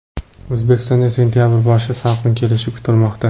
O‘zbekistonda sentabr boshi salqin kelishi kutilmoqda.